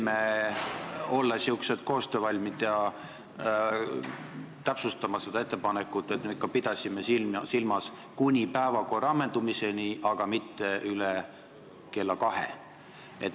Me oleme koostöövalmid ja täpsustame seda ettepanekut: me ikka pidasime silmas kuni päevakorra ammendumiseni, aga mitte üle kella 2.